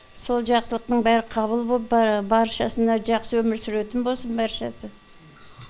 сол жақсылықтың бәрі қабыл болып баршасына жақсы өмір сүретін болсын баршасы